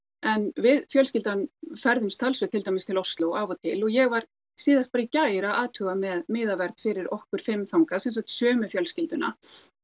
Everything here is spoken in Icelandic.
en við fjölskyldan ferðumst talsvert til dæmis til Osló af og til og ég var síðast í gær að athuga með miðaverð fyrir okkur fimm þangað sem sagt sömu fjölskylduna